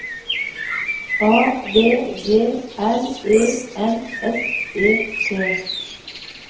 A V G R E N S E T